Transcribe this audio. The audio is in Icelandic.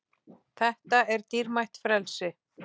Þetta er dýrmætt frelsi.